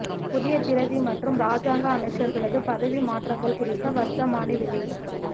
புதிய பிரதி மற்றும் இராஜாங்க அமைச்சர்களது பதவி மாற்றங்கள் குறித்த வர்த்தமானி வெளியீடு